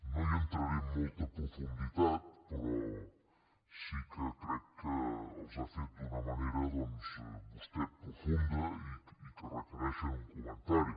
no hi entraré amb molta profunditat però sí que crec que els ha fet d’una manera doncs vostè profunda i que requereixen un comentari